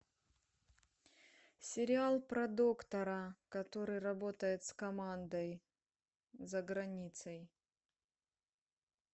сериал про доктора который работает с командой за границей